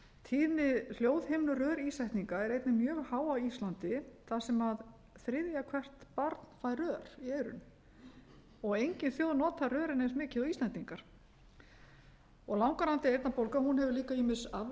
tíðni hljóðhimnurörísetninga er einnig mjög há á íslandi þar sem þriðja hvert barn fær rör í eyrun og engin þjóð notar rörin eins mikið og íslendingar langvarandi eyrnabólga hefur líka ýmis afleidd